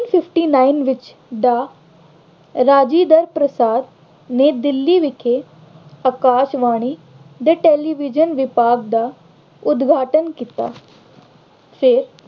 fifty nine ਵਿੱਚ doctor Rajendra Prasad ਨੇ ਦਿੱਲੀ ਵਿਖੇ ਆਕਾਸ਼ਵਾਣੀ ਦੇ television ਵਿਭਾਗ ਦਾ ਉਦਘਾਟਨ ਕੀਤਾ। ਫਿਰ